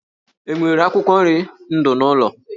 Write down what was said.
E nwere akwụkwọ nri ndụ n'ụlọ?